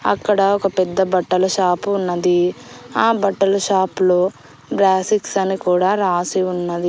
అక్కడ ఒక పెద్ద బట్టల షాపు ఉన్నది ఆ బట్టల షాప్ లో అని కూడా రాసి ఉన్నది.